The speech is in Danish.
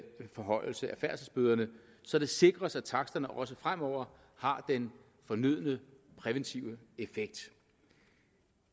forhøjelse af færdselsbøderne så det sikres at taksterne også fremover har den fornødne præventive effekt